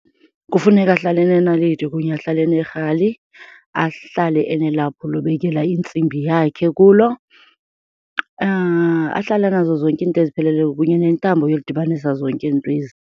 Kufuneka ahlale enenaliti kunye ahlale enerhali, ahlale enelaphu lobekela intsimbi yakhe kulo, ahlale enazo zonke iinto ezipheleleyo kunye nentambo yokudibanisa zonke ezi 'nto ezi.